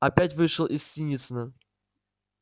опять вышел на синицына